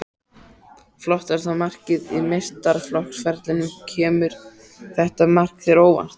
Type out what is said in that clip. Flottasta markið á meistaraflokksferlinum Kemur þetta mark þér á óvart?